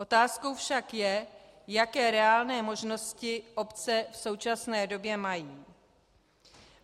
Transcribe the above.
Otázkou však je, jaké reálné možnosti obce v současné době mají.